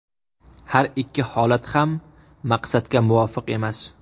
Har ikki holat ham maqsadga muvofiq emas.